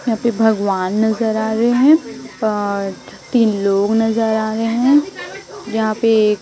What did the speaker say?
यहां पे भगवान नजर आ रहे हैं और तीन लोग नजर आ रहे हैं। जहां पे एक--